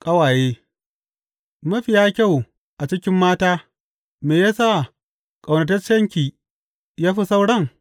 Ƙawaye Mafiya kyau a cikin mata me ya sa ƙaunataccenki ya fi sauran?